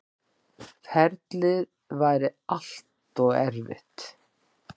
Ferlið væri allt og erfitt.